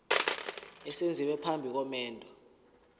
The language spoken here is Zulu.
esenziwa phambi komendo